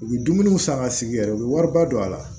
U bɛ dumuniw san ka sigi yɛrɛ u bɛ wariba don a la